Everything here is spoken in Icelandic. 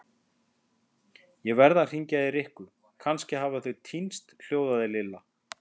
Ég verð að hringja í Rikku, kannski hafa þau týnst hljóðaði Lilla.